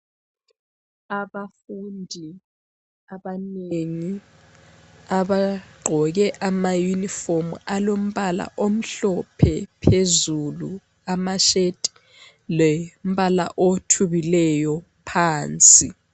Abafundi abanengi abagqoke ama yunifomu alombala omhlophe phezulu amasheti lombala othubileyo phansi.